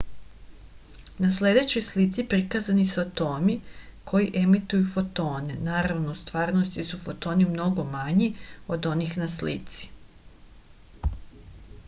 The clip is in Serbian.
na sledećoj slici prikazani su atomi koji emituju fotone naravno u stvarnosti su fotoni mnogo manji od onih na slici